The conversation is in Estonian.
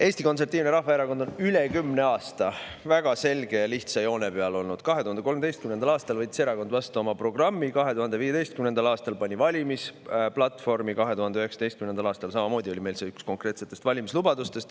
Eesti Konservatiivne Rahvaerakond on üle kümne aasta väga selge ja lihtsa joone peal olnud: 2013. aastal võttis erakond vastu oma programmi, 2015. aastal pani valimisplatvormi, 2019. aastal oli see meil samamoodi üks konkreetsetest valimislubadustest.